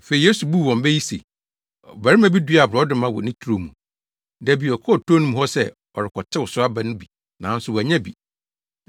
Afei Yesu buu wɔn bɛ yi se, “Ɔbarima bi duaa borɔdɔma wɔ ne turo mu. Da bi ɔkɔɔ turo no mu hɔ sɛ ɔrekɔtew so aba no bi nanso wannya bi.